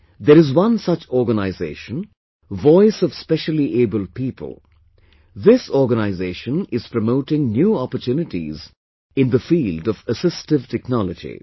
There is one such organization Voice of Specially Abled People, this organization is promoting new opportunities in the field of assistive technology